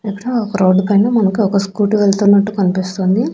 పెద్ద ఒక రోడ్డు పైన మనకు ఒక స్కూటీ వెళ్తున్నట్టు కనిపిస్తుంది.